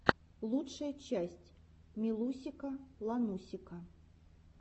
лучшая часть милусика ланусика